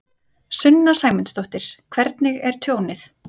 Sunna Sæmundsdóttir: Hvernig er tjónið?